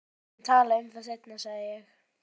Við skulum tala um það seinna sagði ég.